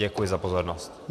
Děkuji za pozornost.